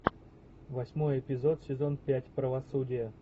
восьмой эпизод сезон пять правосудие